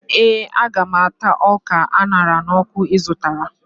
Ee, Aga m ata ọka a ṅara n'ọkụ ị zụtara